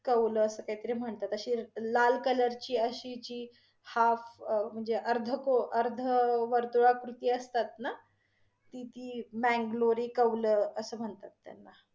कौलं अस काहीतरी म्हणतात, अशी लाल color ची अशी जी half म्हणजे अर्धकोऱ्~ अर्धवृतुलाकृती असतात न ती, ती ब्यांगलोरी कौल अस म्हणतात त्यांना.